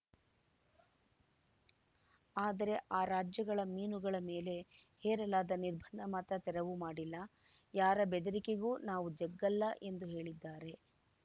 ಆದರೆ ಆ ರಾಜ್ಯಗಳ ಮೀನುಗಳ ಮೇಲೆ ಹೇರಲಾದ ನಿರ್ಬಂಧ ಮಾತ್ರ ತೆರವು ಮಾಡಲ್ಲ ಯಾರ ಬೆದರಿಕೆಗೂ ನಾವು ಜಗ್ಗಲ್ಲ ಎಂದು ಹೇಳಿದ್ದಾರೆ